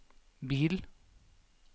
bil